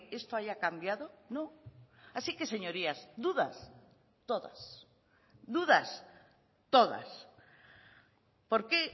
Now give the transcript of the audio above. esto haya cambiado no así que señorías dudas todas dudas todas por qué